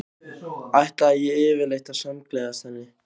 Ætlaði ég yfirleitt að samgleðjast henni?